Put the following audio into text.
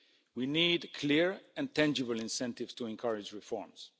We need clear and tangible incentives to encourage reforms.